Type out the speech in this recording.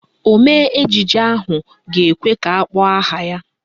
Omee ejije ahụ ga-ekwe ka akpọọ aha ya.